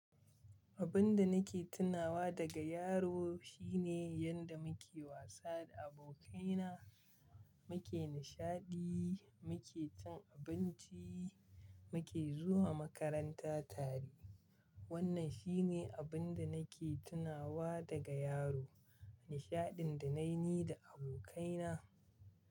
Abin da nake tunawa daga yaro shine yadda muke wasa da abokaina, muke nishaɗi, muke cin abinci, muke zuwa makaranta tare. Wannan shi ne abin da nake tunawa daga yaro, nishaɗin da na yi da abokaina.